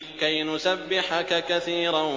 كَيْ نُسَبِّحَكَ كَثِيرًا